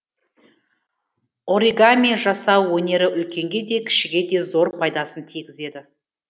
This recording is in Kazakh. оригами жасау өнері үлкенге де кішіге де зор пайдасын тигізеді